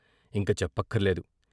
ఇంక చెప్పక్కర్లేదు.